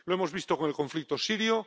Lo hemos visto con el conflicto sirio.